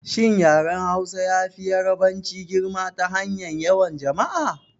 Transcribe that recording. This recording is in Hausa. Shin yaren Hausa yafi Yarabanci girma ta fannin yawan jama'a?